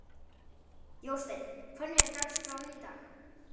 Jósteinn, hvernig er dagskráin í dag?